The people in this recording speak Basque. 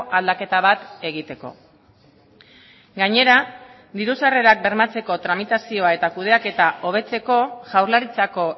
aldaketa bat egiteko gainera diru sarrerak bermatzeko tramitazioa eta kudeaketa hobetzeko jaurlaritzako